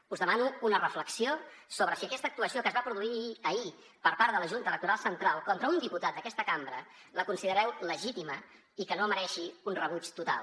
us demano una reflexió sobre si aquesta actuació que es va produir ahir per part de la junta electoral central contra un diputat d’aquesta cambra la considereu legítima i que no mereixi un rebuig total